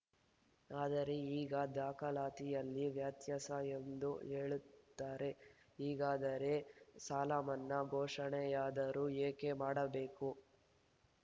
ಆದರೆ ಈಗ ದಾಖಲಾತಿಯಲ್ಲಿ ವ್ಯತ್ಯಾಸ ಎಂದು ಹೇಳುತ್ತಾರೆ ಹೀಗಾದರೆ ಸಾಲಮನ್ನಾ ಘೋಷಣೆಯಾದರೂ ಏಕೆ ಮಾಡಬೇಕು